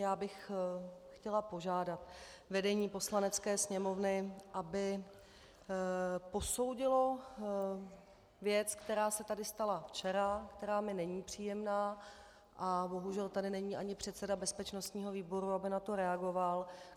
Já bych chtěla požádat vedení Poslanecké sněmovny, aby posoudilo věc, která se tady stala včera, která mi není příjemná, a bohužel tady není ani předseda bezpečnostního výboru, aby na to reagoval.